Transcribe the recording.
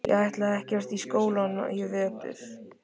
Ég ætla ekkert í skólann í vetur.